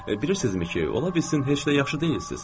Bilirsizmi ki, ola bilsin heç də yaxşı deyilsiz?